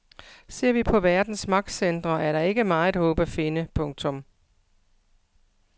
Ser vi på verdens magtcentre er der ikke meget håb at finde. punktum